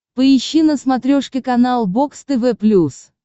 поищи на смотрешке канал бокс тв плюс